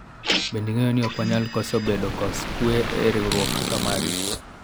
bende ing'eyoni ok wanyal koso bedo kos kwe e riwruok kaka magi